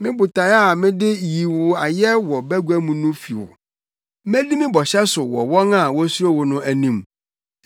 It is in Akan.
Me botae a mede yi wo ayɛ wɔ bagua mu no fi wo; medi me bɔhyɛ so wɔ wɔn a wosuro wo no anim.